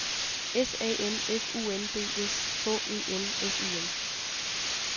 S A M F U N D S H E N S Y N